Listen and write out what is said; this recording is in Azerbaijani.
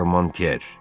Armantyer.